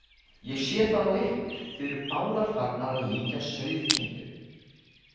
Ég sé það á ykkur, þið eruð báðar farnar að líkjast sauðkindum.